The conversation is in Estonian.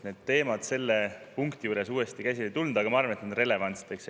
Need teemad selle punkti juures uuesti käsile ei tulnud, aga ma arvan, et need on relevantsed.